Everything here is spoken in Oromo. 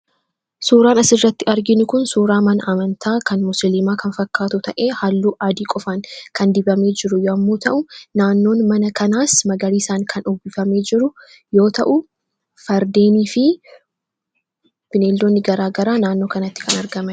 Suuraan asirratti arginu kun suuraa mana amantaa kan musliimaa kan fakkaatu ta'e halluu adii qofan kan dibamee jiru yommuu ta'u naannoo mana kanaas magariisaan kan uwwifamee jiru yoo ta'u fardeenii fi bineeldoonni garaagaraa naannoo kanatti kan argamenidha.